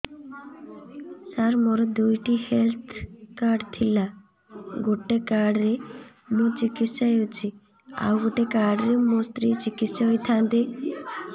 ସାର ମୋର ଦୁଇଟି health card ଥିଲା ଗୋଟେ କାର୍ଡ ରେ ମୁଁ ଚିକିତ୍ସା ହେଉଛି ଆଉ ଗୋଟେ କାର୍ଡ ରେ ମୋ ସ୍ତ୍ରୀ ଚିକିତ୍ସା ହୋଇଥାନ୍ତେ